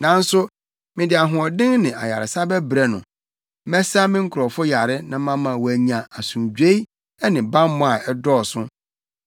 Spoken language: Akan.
“ ‘Nanso mede ahoɔden ne ayaresa bɛbrɛ no; mɛsa me nkurɔfo yare na mama wɔanya asomdwoe ne bammɔ a ɛdɔɔso.